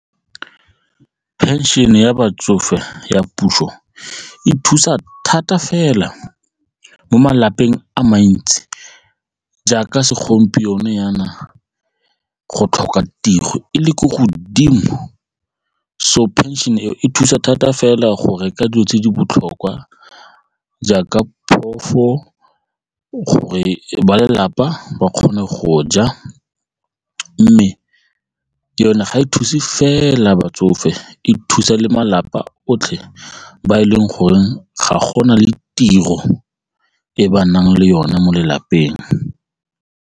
Pension-e ya batsofe ya puso e thusa thata fela mo malapeng a mantsi jaaka segompieno jaana go tlhoka tiro e le ko godimo so pension-e e e thusa thata fela go reka dilo tse di botlhokwa jaaka gore ba lelapa ba kgone go ja a mme yone ga e thuse fela batsofe e thusa le malapa otlhe ba e leng gore ga go na le tiro e ba nang le yone mo lelapeng.